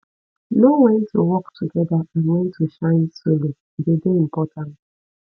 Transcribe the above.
know when to work together and when to shine solo e dey dey important